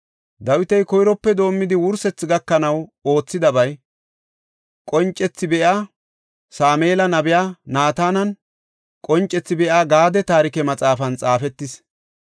Dawiti koyrope doomidi wursethi gakanaw oothidabay, qoncethi be7iya Sameela, nabiya Naatananne qoncethi be7iya Gaade taarike maxaafan xaafetis.